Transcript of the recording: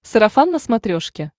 сарафан на смотрешке